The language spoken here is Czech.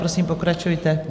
Prosím, pokračujte.